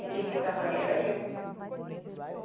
E quem ficava ali era eu.